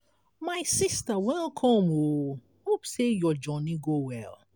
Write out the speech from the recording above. my sista welcome o hope sey your journey go well.